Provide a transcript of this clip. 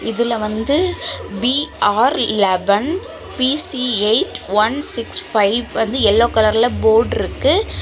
இதுல வந்து B R eleven P C eight one six five வந்து எல்லோ கலர்ல போர்டு இருக்கு.